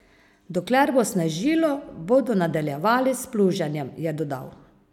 Dokler bo snežilo, bodo nadaljevali s pluženjem, je dodal.